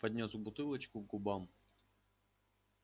поднёс бутылочку к губам